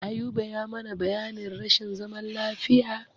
Ayuba ya mana bayanin rashin zaman lafiya.